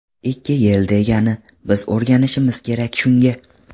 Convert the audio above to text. Ikki yil degani, biz o‘rganishimiz kerak shunga.